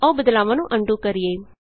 ਆਉ ਬਦਲਾਵਾਂ ਨੂੰ ਅਨਡੂ ਕਰੀਏ